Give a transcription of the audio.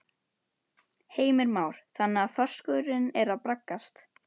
Heimir Már: Þannig að þorskurinn er að braggast?